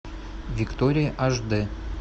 виктория аш дэ